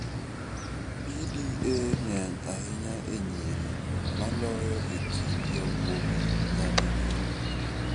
PDA ng�eny ahinya e nyiri moloyo e kind yawuowi nyadi riyo.